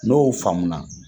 N'o faamu na